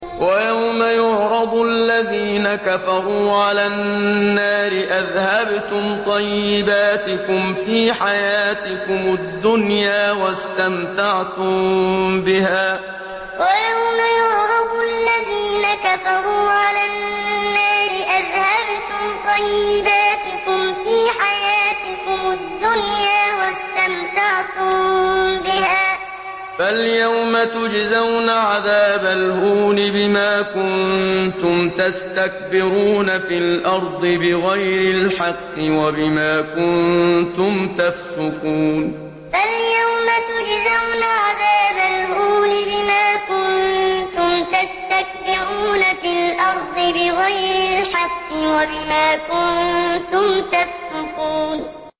وَيَوْمَ يُعْرَضُ الَّذِينَ كَفَرُوا عَلَى النَّارِ أَذْهَبْتُمْ طَيِّبَاتِكُمْ فِي حَيَاتِكُمُ الدُّنْيَا وَاسْتَمْتَعْتُم بِهَا فَالْيَوْمَ تُجْزَوْنَ عَذَابَ الْهُونِ بِمَا كُنتُمْ تَسْتَكْبِرُونَ فِي الْأَرْضِ بِغَيْرِ الْحَقِّ وَبِمَا كُنتُمْ تَفْسُقُونَ وَيَوْمَ يُعْرَضُ الَّذِينَ كَفَرُوا عَلَى النَّارِ أَذْهَبْتُمْ طَيِّبَاتِكُمْ فِي حَيَاتِكُمُ الدُّنْيَا وَاسْتَمْتَعْتُم بِهَا فَالْيَوْمَ تُجْزَوْنَ عَذَابَ الْهُونِ بِمَا كُنتُمْ تَسْتَكْبِرُونَ فِي الْأَرْضِ بِغَيْرِ الْحَقِّ وَبِمَا كُنتُمْ تَفْسُقُونَ